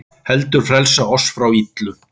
heldur frelsa oss frá illu.